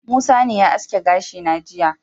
Musa ne ya aske gashi na jiya.